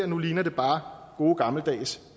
nu ligner det bare gode gammeldags